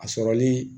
A sɔrɔli